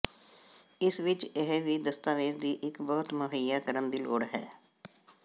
ਇਸ ਵਿਚ ਇਹ ਵੀ ਦਸਤਾਵੇਜ਼ ਦੀ ਇੱਕ ਬਹੁਤ ਮੁਹੱਈਆ ਕਰਨ ਦੀ ਲੋੜ ਹੈ